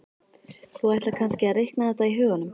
Þú ætlar kannski að reikna þetta í huganum?